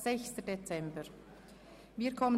Bericht des Regierungsrates an den Grossen